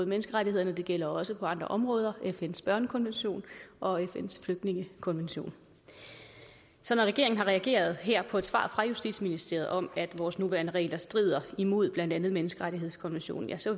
menneskerettighederne og det gælder også på andre områder som eksempel fns børnekonvention og fns flygtningekonvention så når regeringen har reageret her på et svar fra justitsministeriet om at vores nuværende regler strider imod blandt andet menneskerettighedskonventionen ja så